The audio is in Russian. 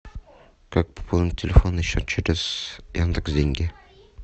как пополнить телефонный счет через яндекс деньги